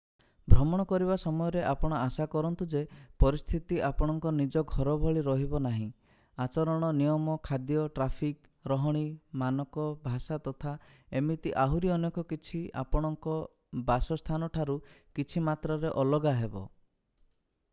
ଭ୍ରମଣ କରିବା ସମୟରେ ଆପଣ ଆଶା କରନ୍ତୁ ଯେ ପରିସ୍ଥିତି ଆପଣଙ୍କ ନିଜ ଘର ଭଳି ରହିବ ନାହିଁ ଆଚରଣ ନିୟମ ଖାଦ୍ୟ ଟ୍ରାଫିକ୍ ରହଣି ମାନକ ଭାଷା ତଥା ଏମିତି ଆହୁରି ଅନେକ କିଛି ଆପଣଙ୍କ ବାସସ୍ଥାନ ଠାରୁ କିଛି ମାତ୍ରାରେ ଅଲଗା ହେବ